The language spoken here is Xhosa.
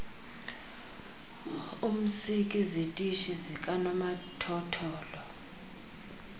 umzk izitishi zikanomathotholo